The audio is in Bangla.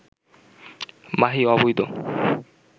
মাহি অবৈধ